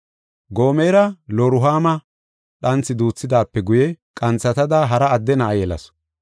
Gomera Loruhaamo dhanthi duuthidaape guye qanthatada hara adde na7a yelasu.